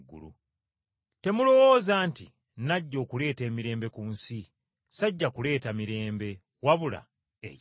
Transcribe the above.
“Temulowooza nti najja okuleeta emirembe ku nsi! Sajja kuleeta mirembe wabula ekitala.